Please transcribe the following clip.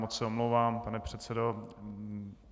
Moc se omlouvám, pane předsedo.